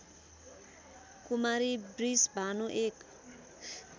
कुमारी बृषभानु एक